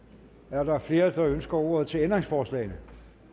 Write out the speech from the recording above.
er der flere der ønsker ordet til ændringsforslagene